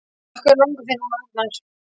Af hverju langar þig núna, Arnar?